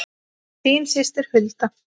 Þín systir Hulda.